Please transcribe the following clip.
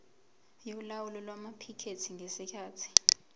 yolawulo lwamaphikethi ngesikhathi